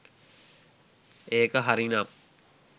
ඒක හරි නම්